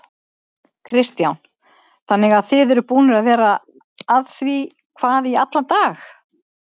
Kristján: Þannig að þið eruð búnir að vera að því hvað í allan dag?